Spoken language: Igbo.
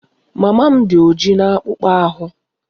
Mama m dị ojii na akpụkpọ ahụ